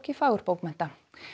fagurbókmennta